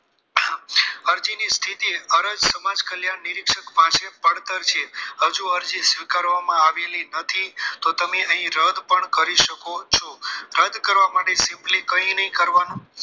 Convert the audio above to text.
અરજી ની સ્થિતિ અરજ સમાજ કલ્યાણ નિરીક્ષક પાસે પડતર છે હજી અરજી સ્વીકારવામાં આવેલી નથી તો તમે અહીં રદ પણ કરી શકો છો રદ કરવા માટે simply કંઈ નહીં કરવાનું